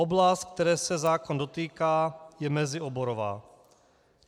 Oblast, které se zákon dotýká, je mezioborová.